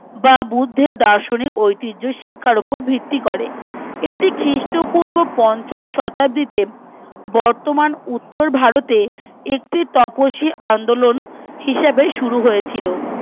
বা বুর্ধের দার্শনিক ঐতিহ্য শিক্ষার উপর ভিত্তি করে এটি খ্রীষ্ট পূর্ব পঞ্চম শতাব্দীতে বর্তমান উত্তর ভারতের একটি তপ শীল আন্দোলন হিসাবে শুরু হয়েছিল